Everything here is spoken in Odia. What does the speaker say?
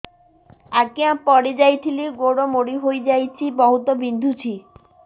ଆଜ୍ଞା ପଡିଯାଇଥିଲି ଗୋଡ଼ ମୋଡ଼ି ହାଇଯାଇଛି ବହୁତ ବିନ୍ଧୁଛି